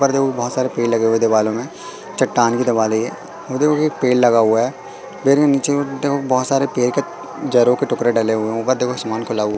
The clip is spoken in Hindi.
ऊपर देखो बहोत सारे पेड़ लगे हुए हैं दिवालों में चट्टान की दिवाल है यह और देखो कि पेड़ लगा हुआ है पेड़ के नीचे में देखो बहोत सारे पेड़ के जड़ों के टुकड़े डले हुए हैं ऊपर देखो आसमान खुला --